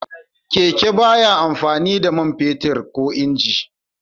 Keke ba ya amfani da man fetur ko inji.